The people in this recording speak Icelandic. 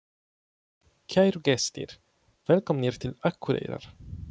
Kæru gestir! Velkomnir til Akureyrar.